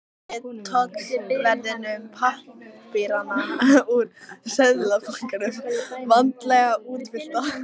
Rétti tollverðinum pappírana úr Seðlabankanum, vandlega útfyllta.